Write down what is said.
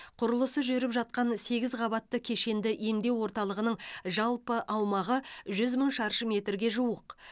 құрылысы жүріп жатқан сегіз қабатты кешенді емдеу орталығының жалпы аумағы жүз мың шаршы метрге жуық